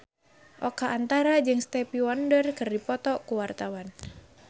Oka Antara jeung Stevie Wonder keur dipoto ku wartawan